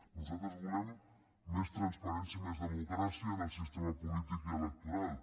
nosaltres volem més transparència i més democràcia en el sistema polític i electoral